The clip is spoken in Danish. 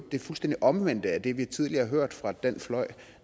fuldstændig omvendt af det vi tidligere har hørt fra den fløj